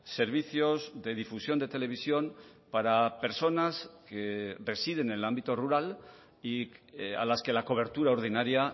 servicios de difusión de televisión para personas que residen en el ámbito rural y a las que la cobertura ordinaria